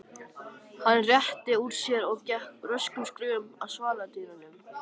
Hann rétti úr sér og gekk röskum skrefum að svaladyrunum.